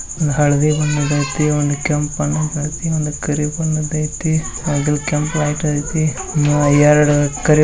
ಹಳದಿ ಬಣ್ಣದ್ ಐತಿ ಒಂದ್ ಕೆಂಪ್ ಬಣ್ಣದ್ ಐತಿ ಒಂದ್ ಕರಿ ಬಣ್ಣದ್ ಐತಿ ಬಗಲ್ ಕೆಂಪ್ ಲೈಟ್ ಐತಿ ಆಹ್ಎರಡ್ ಕರಿ --